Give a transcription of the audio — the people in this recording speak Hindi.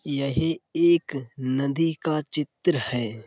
यह एक नदी का चित्र है।